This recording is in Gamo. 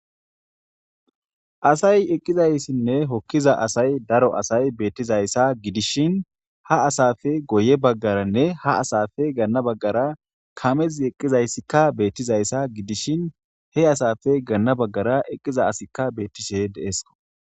Asay eqqizayssinne hokkiza asay daro asay beettizayssa gidishin ha asafe goye baggaranne ha asafe ganna baggara kamezi eqqizayssikka beettizayssa gidishin he asafe ganna baggara eqqiza asikka beettishe deesko